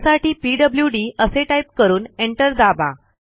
त्यासाठी पीडब्ल्यूडी असे टाईप करून एंटर दाबा